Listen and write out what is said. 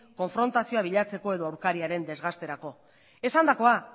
konfrontazioa bilatzeko edo aurkariaren desgasterako esandakoa